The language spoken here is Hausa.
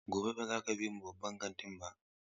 Gobe ​​baza ka bi mu babban kantin ba!